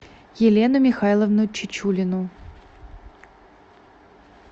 елену михайловну чечулину